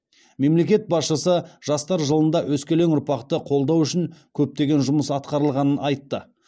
мемлекет басшысы жастар жылында өскелең ұрпақты қолдау үшін көптеген жұмыс атқарылғанын айтты